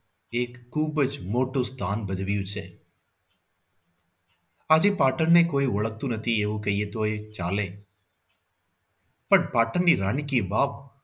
એક ખૂબ જ મોટું સ્થાન ભજવ્યું છે. આજે પાટણને કોઈ ઓળખતું નથી એવું કઈએ તો ચાલે પણ પાટણની રાણી કી વાવ